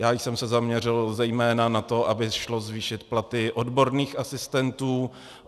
Já jsem se zaměřil zejména na to, aby šlo zvýšit platy odborných asistentů.